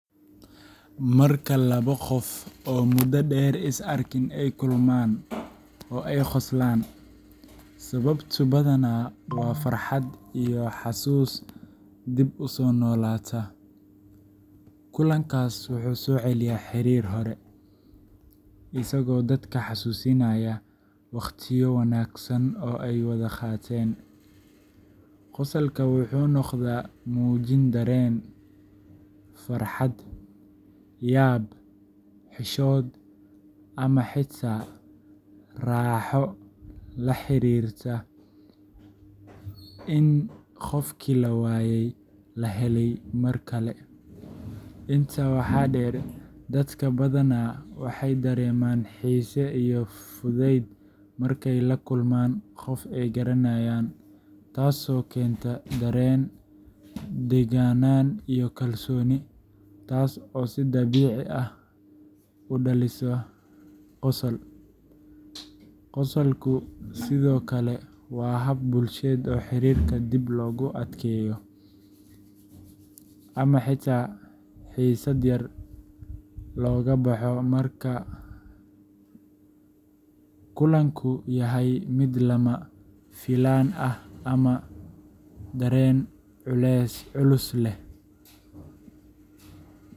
Marka labo gof oo muda deer isarkin ay kulman oo ay qoslan sawabto badana wa farhat iyo hasus dib usonolata, kulankas wuxu soceliya xarir hore, isago dadka hasusinaya wagtiyadodi wanagsan oo ay wada gateen, qosolka wuxu nogda mujin daren farhat yaab hishod ama hita rahoo laharirta in gofki lawayey lahelay markale, inta waxa deer dad badana waxay dareman hiiso iyo fuded markay lakulman gof ay garanayan, taas oo kenta daren dagana iyo kalsoni, taas oo si dabici ah u daliso qosol, qosolku sidha okale wa hab bulshada hirikoda adkey, ama hita hisad yar logaboho marka kulanku yahay mid lamafilann ah ama daren culus leh.